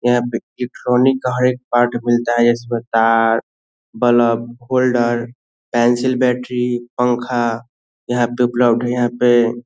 यहाँ पे इलेक्ट्रॉनिक का एक पार्ट मिलता है उसमें car bulb holder tiles battery पंखा यहाँ पे उपलब्ध है यहाँ पे --